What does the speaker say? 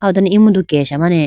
aw do emudu kesha mane.